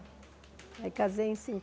Aí casei em